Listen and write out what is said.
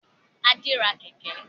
Adé ra Kẹ̀kẹ́